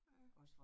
Ja